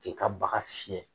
K'i ka baga fiɲɛ.